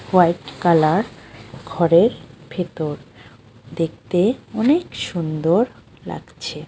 White colour ঘরের ভেতর দেখতে অনেক সুন্দর লাগছে।